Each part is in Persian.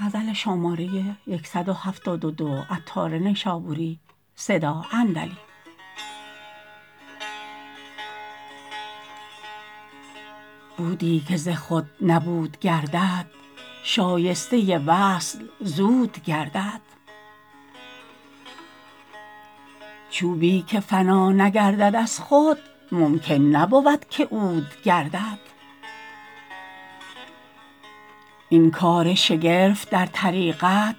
بودی که ز خود نبود گردد شایسته وصل زود گردد چوبی که فنا نگردد از خود ممکن نبود که عود گردد این کار شگرف در طریقت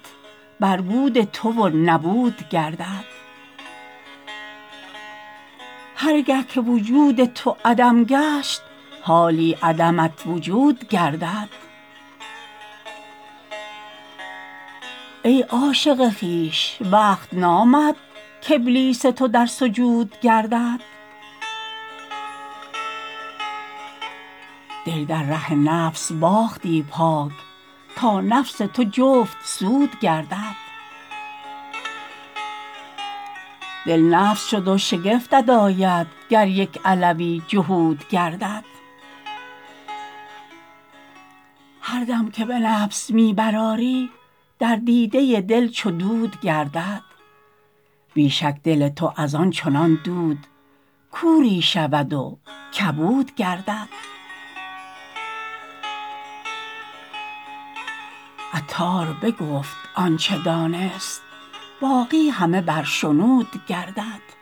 بر بود تو و نبود گردد هرگه که وجود تو عدم گشت حالی عدمت وجود گردد ای عاشق خویش وقت نامد کابلیس تو در سجود گردد دل در ره نفس باختی پاک تا نفس تو جفت سود گردد دل نفس شد و شگفتت آید گر یک علوی جهود گردد هر دم که به نفس می برآری در دیده دل چو دود گردد بی شک دل تو از آن چنان دود کوری شود و کبود گردد عطار بگفت آنچه دانست باقی همه بر شنود گردد